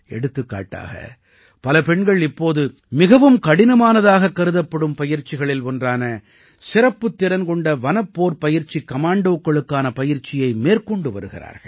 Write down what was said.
எடுத்துக்காட்டாக பல பெண்கள் இப்போது மிகவும் கடினமானதாகக் கருதப்படும் பயிற்சிகளில் ஒன்றான சிறப்புத்திறன் கொண்ட வனப்போர்ப்பயிற்சிக் கமாண்டோக்களுக்கான பயிற்சியை மேற்கொண்டு வருகிறார்கள்